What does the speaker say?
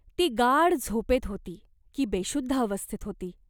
ती गाढ झोपेत होती, की बेशुद्ध अवस्थेत होती !